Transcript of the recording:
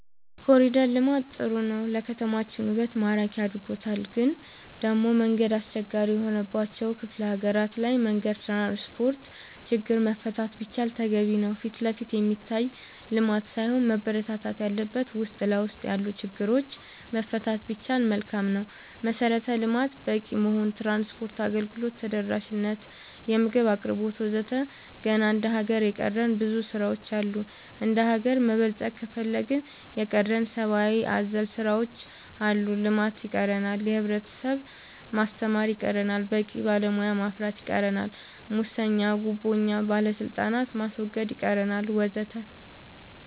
ኮሊደር ልማት ጥሩ ነው ለከተማችን ውበት ማራኪ አርጎታል ግን ደሞ መንገድ አስቸጋሪ የሆነባቸው ክፍለ ሀገራት ላይ መንገድ ትራንስፖርት ችግር መፈታት ቢችል ተገቢ ነው ፊትለፊት የሚታይ ልማት ሳይሆን መበረታታት ያለበት ውስጥ ለውስጥ ያሉ ችግሮች መፍታት ቢቻል መልካም ነው መሰረተ ልማት በቂ መሆን ትራንስፓርት አገልግሎት ተደራሽ ነት የምግብ አቅርቦት ወዘተ ገና እንደ ሀገር የቀረን ብዙ ስራ ዎች አሉ እንደሀገር መበልፀግ ከፈለግን የቀረን ሰባአዊ አዘል ስራዎች አሉ ልማት ይቀረናል የህብረተሰብ ማስተማር ይቀረናል በቂ ባለሙያ ማፍራት ይቀረናል ሙሰኛ ጉቦኛ ባለስልጣናት ማስወገድ ይቀረናል ወዘተ